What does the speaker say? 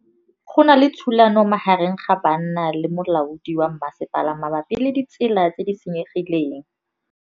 Go na le thulanô magareng ga banna le molaodi wa masepala mabapi le ditsela tse di senyegileng.